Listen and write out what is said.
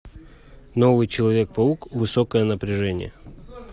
новый человек паук высокое напряжение